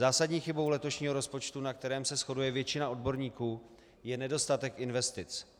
Zásadní chybou letošního rozpočtu, na kterém se shoduje většina odborníků, je nedostatek investic.